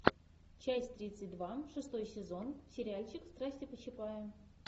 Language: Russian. часть тридцать два шестой сезон сериальчик страсти по чапаю